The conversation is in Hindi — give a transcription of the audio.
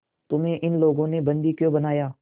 तुम्हें इन लोगों ने बंदी क्यों बनाया